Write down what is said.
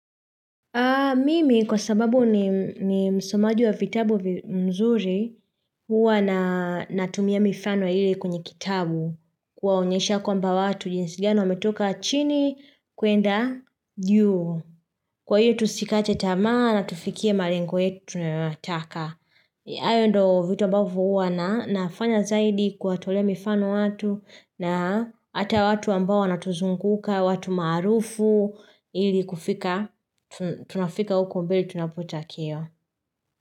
Mimi kwa sababu ni msomaji wa vitabu mzuri huwa na tumia mifano ili kwenye kitabu kwa unyosha kwamba watu jinsi gani ametoka chini kuenda juu. Kwa hiyo tusikate tamaa na tifikie malengo yetu na yonataka. Hao ndo vitu ambavo uwa na nafanya zaidi kuwatolea mifano watu na hata watu ambao wanatuzunguka, watu marufu ili kufika. Tunafika huko mbili tunapotachakia.